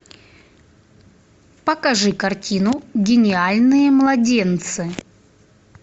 покажи картину гениальные младенцы